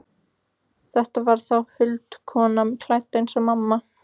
Þetta var þá huldukona, klædd eins og mamma.